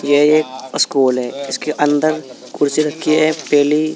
ये एक स्कूल है। इसके अंदर कुर्सी रखी है। पेली --